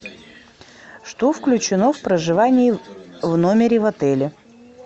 что включено в проживание в номере в отеле